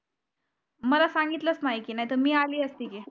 मला सांगितलंच नाही नाहीतर मी आली असती.